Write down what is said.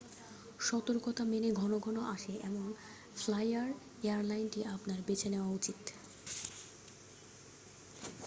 সতর্কতা মেনে ঘনঘন আসে এমন ফ্লাইয়ার এয়ারলাইনটি আপনার বেছে নেওয়া উচিত